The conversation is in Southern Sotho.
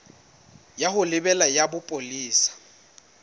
ya ho lebela ya bopolesa